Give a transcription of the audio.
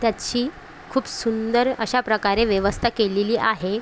त्याची खुप सुंदर अश्या प्रकारे व्यवस्था केलेली आहे.